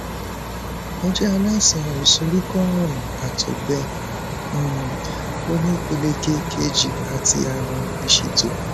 mo jẹ aláìsàn ìsoríkọ ààrùn àtọgbẹ um oní ìpele kejì àti ààrùn ìsétọ